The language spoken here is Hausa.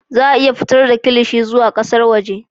Za a iya fitar da kilishi zuwa ƙasar waje